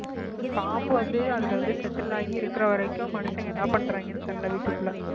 உம் பாம்பு வந்து அதுல வந்து settle ஆகி இருக்கிற வரைக்கும் மனுஷங்க என்ன பண்றாங்கன்னு தெரியலே வீட்டுக்குள்ள